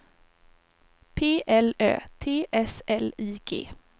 P L Ö T S L I G